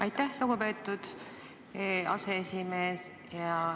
Aitäh, lugupeetud aseesimees!